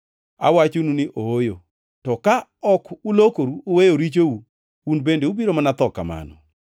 Awachonu ni ooyo! To ka ok ulokoru uweyo richou un bende ubiro mana tho.”